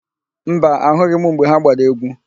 Mba, ahụghị m mgbe ha gbara égwú.